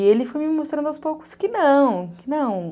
E ele foi me mostrando aos poucos que não, que não.